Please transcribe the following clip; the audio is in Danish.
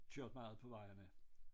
Kørt meget på vejene